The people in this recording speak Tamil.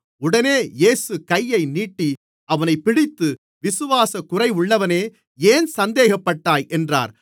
உடனே இயேசு கையை நீட்டி அவனைப் பிடித்து விசுவாசக் குறைவுள்ளவனே ஏன் சந்தேகப்பட்டாய் என்றார்